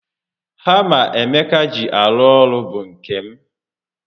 Hama Emeka ji arụ ọrụ bụ nke m